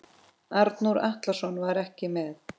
Arnór Atlason var ekki með.